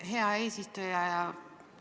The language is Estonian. Hea eesistuja!